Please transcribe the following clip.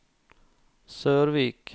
Sørvik